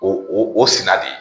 O o sira de ye